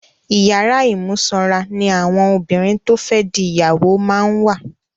Ìyàrá ìmúsọra ní àwọn obìnrin to fe di ìyàwó máa ń wà.